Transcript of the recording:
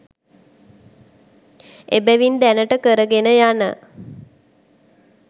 එබැවින් දැනට කරගෙන යන